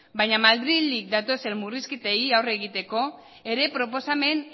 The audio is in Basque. baina madrildik datozen murrizketei aurre egiteko ere proposamen